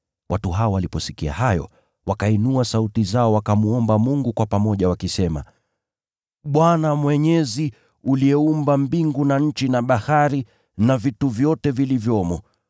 Watu waliposikia hayo, wakainua sauti zao, wakamwomba Mungu kwa pamoja, wakisema, “Bwana Mwenyezi, uliyeziumba mbingu na nchi na bahari, na vitu vyote vilivyomo.